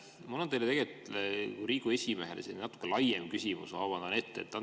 Mul on teile kui Riigikogu esimehele natuke laiem küsimus, ma vabandan ette.